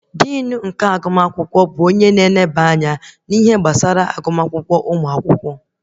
Dinu akwụkwọ bụ onye na-eneba anya na ihe gbasara agụma akwụkwọ ụmụ akwụkwọ